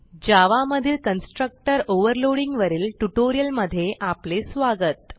जावा मधील constructor overloading वरील ट्युटोरियलमधे अपले स्वागत